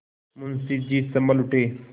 मुंशी जी सँभल उठे